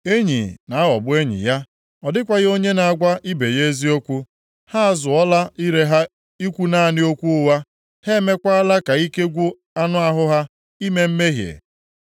Enyi na-aghọgbu enyi ya, ọ dịkwaghị onye na-agwa ibe ya eziokwu. Ha azụọla ire ha ikwu naanị okwu ụgha; ha emeekwala ka ike gwụ anụ ahụ ha ime mmehie.